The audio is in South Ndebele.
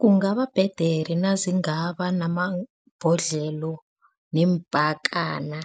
Kungababhedere nazingaba namabhodlelo neempakana